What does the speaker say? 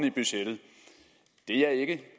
i budgettet det er ikke